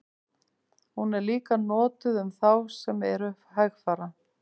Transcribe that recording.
Hún er líka notuð um þá sem eru hægfara.